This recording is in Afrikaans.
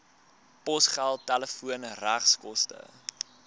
posgeld telefoon regskoste